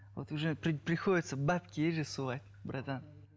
вот уже приходиться бабки есть же сувать братан